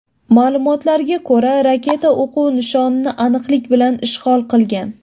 Ma’lumotlarga ko‘ra, raketa o‘quv nishonini aniqlik bilan ishg‘ol qilgan.